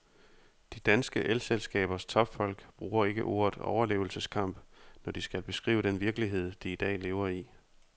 De danske elselskabers topfolk bruger ikke ordet overlevelseskamp, når de skal beskrive den virkelighed, de i dag lever i.